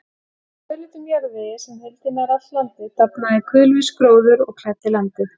Í rauðleitum jarðvegi, sem huldi nær allt landið, dafnaði kulvís gróður og klæddi landið.